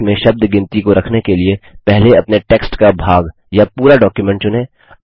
अपने लेख में शब्द गिनती को रखने के लिए पहले अपने टेक्स्ट का भाग या पूरा डॉक्युमेंट चुनें